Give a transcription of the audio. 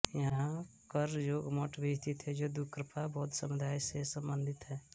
यहाँ करज़ोक मठ भी स्थित है जो द्रुकपा बौद्ध समुदाय से सम्बन्धित है